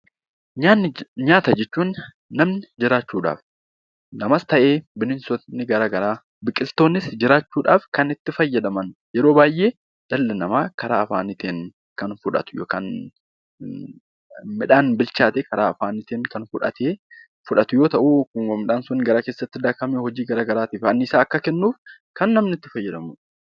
Nyaata jechuun namni jiraachuudhaaf namas ta'ee bineensonni garaagaraa biqiltoonnis kan itti fayyadaman yeroo baay'ee dhalli namaa karaa afaaniin kan fudhatu yookiin midhaan bilchaate karaa afaaniin kan fudhatu fi anniisaa nuuf kennuuf kan itti fayyadamnudha